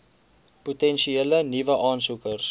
potensiële nuwe aansoekers